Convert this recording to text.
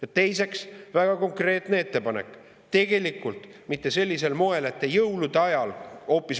Ja teiseks, väga konkreetne ettepanek: tegelikult mitte sellisel moel, et te jõulude ajal …